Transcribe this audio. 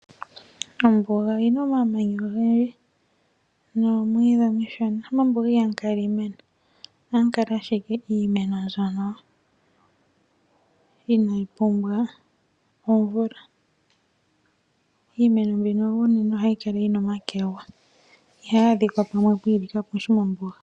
Ombuga oyi na omamanya ogendji noomwiidhi omishona. Mombuga ihamu kala lela iimeno, ohamu kala ashike iimeno mbyono inayi pumbwa omvula. Iimeno mbino unene ohayi kala yi na omakwega, ihayi adhika gamwe pwiili kapushi mombuga.